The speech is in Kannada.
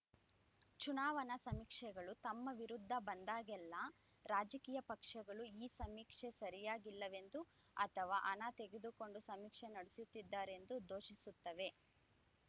ಚುನಾವಣಾ ಸಮೀಕ್ಷೆಗಳು ತಮ್ಮ ವಿರುದ್ಧ ಬಂದಾಗಲೆಲ್ಲ ರಾಜಕೀಯ ಪಕ್ಷಗಳು ಈ ಸಮೀಕ್ಷೆಯೇ ಸರಿಯಿಲ್ಲವೆಂದೋ ಅಥವಾ ಹಣ ತೆಗೆದುಕೊಂಡು ಸಮೀಕ್ಷೆ ನಡೆಸಿದ್ದಾರೆಂದೋ ದೂಷಿಸುತ್ತವೆ